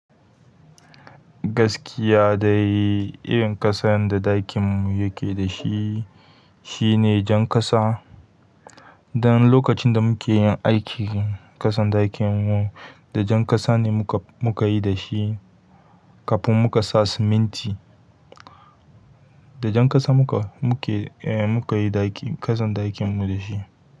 Gaskiya dai irin ƙasan da ɗakinmu yake dashi shine jan ƙasa dan lokacin da muke yin aikin ƙasan ɗakinmu, da jan ƙasa ne muka, muka yi da shi kafin muka sa siminti. Da jan ƙasa muka, muke, eh muka yi ɗaki, ƙasan ɗakinmu da shi.